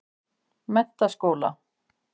Menntaskóla